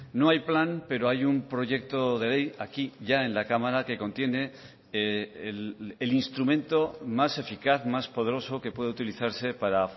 no hay plan pero hay un proyecto de ley aquí ya en la cámara que contiene el instrumento más eficaz más poderoso que puede utilizarse para